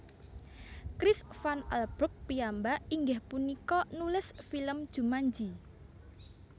Chris Van Allbrug piyambak inggih punika nulis film Jumanji